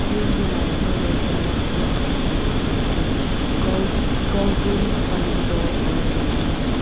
window laga osor te xerox koina ekta sign dekhi ase cold cold drinks pani bottle ors khan.